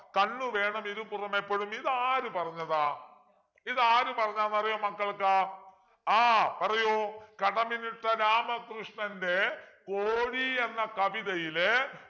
കണ്ണുവേണം ഇരുപുറമെപ്പൊഴും ഇതാര് പറഞ്ഞതാ ഇതാര് പറഞ്ഞതാണെന്നറിയുമോ മക്കൾക്ക് ആഹ് പറയു കടമ്മനിട്ട രാമകൃഷ്ണൻ്റെ കോഴി എന്ന കവിതയിലെ